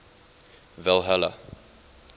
valhalla